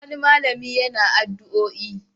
Wani malami yana addu'oi.